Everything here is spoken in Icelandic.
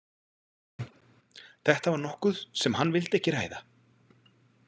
Þetta var nokkuð sem hann vildi ekki ræða.